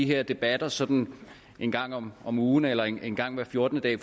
her debatter sådan en gang om om ugen eller en gang hver fjortende dag